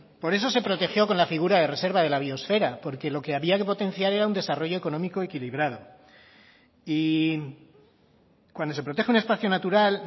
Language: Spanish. por eso se protegió con la figura de reserva de la biosfera porque lo que había que potenciar era un desarrollo económico equilibrado y cuando se protege un espacio natural